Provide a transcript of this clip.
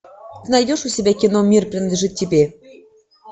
найдешь у себя кино мир принадлежит тебе